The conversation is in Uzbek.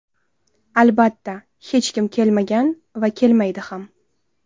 Albatta, hech kim kelmagan va kelmaydi ham.